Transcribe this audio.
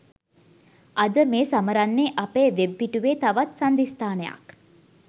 අද මේ සමරන්නේ අපේ වෙබ් පිටුවේ තවත් සංදිස්ථානයක්